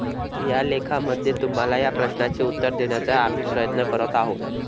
या लेखामध्ये तुम्हाला या प्रश्नाचे उत्तर देण्याचा आम्ही प्रयत्न करत आहोत.